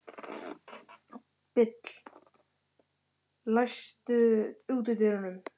Bill, læstu útidyrunum.